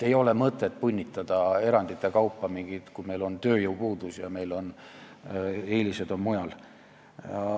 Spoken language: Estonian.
Ei ole mõtet punnitada erandite kaupa midagi teha, kui meil on tööjõupuudus ja meil on eelised mujal.